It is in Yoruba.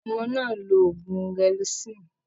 Ọmọ náà ń lo oògùn gelocin.